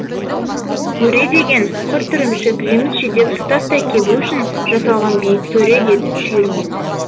өре деген құрт ірімшік жеміс жидек тұтастай кебу үшін жа салған биік сөре деді шүйірмек